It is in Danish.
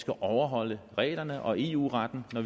skal overholde reglerne og eu retten når